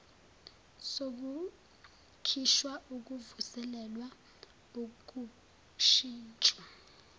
sokukhishwa ukuvuselelwa ukushintshwa